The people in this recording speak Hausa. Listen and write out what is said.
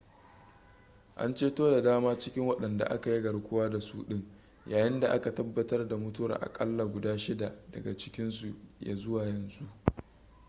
an ceto da dama cikin wadanda aka yi garkuwa da su din yayin da aka tabbatar da mutuwar akalla guda shida daga cikinsu ya zuwa yanzu